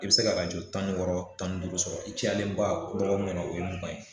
I be se ka arajo tan ni wɔɔrɔ tan ni duuru sɔrɔ i cayalenba dɔɔgkun kɔnɔ o ye mugan ye